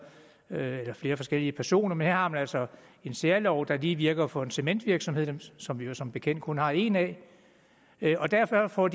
eller flere forskellige personer men her har man altså en særlov der lige netop virker for en cementvirksomhed som vi jo som bekendt kun har en af derfor får